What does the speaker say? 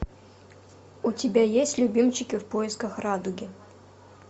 у тебя есть любимчики в поисках радуги